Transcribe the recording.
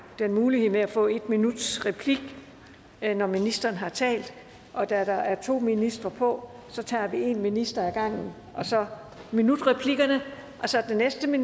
den mulighed med at få en minuts replik når ministeren har talt og da der er to ministre på tager vi en minister ad gangen og så minutreplikkerne og så den næste